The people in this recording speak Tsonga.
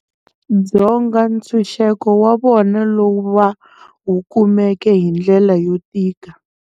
Dzonga ntshuxeko wa vona lowu va wu kumeke hi ndlela yo tika.